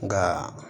Nka